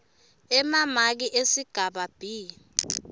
emamaki esigaba b